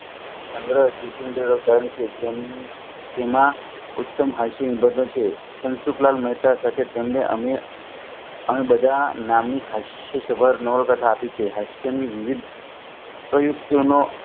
સંગર્હ જેમાં ઉત્તમ હસીન છે ધનસુખલાલ મહેતા તેમને અમે બધા નામની હાસ્ય સભા નવા ટેકે આપી છે